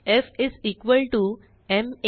F is equal to m a